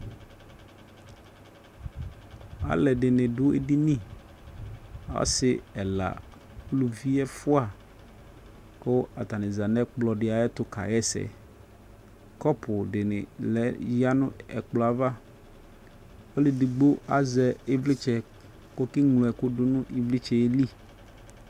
Alu ɛdini du edini ɔsi ɛla uluvi ɛfua ku atani za nu ɛkplɔ di ayɛtu kaɣa ɛsɛ Kɔpu dini ya nu ɛkplɔ ava Ɔlu ɛdigbo azɛ ivlitsɛ ku ɔkeŋlo ɛku du nu ivlitsɛ yɛ li